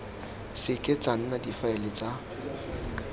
seke tsa nna difaele tsa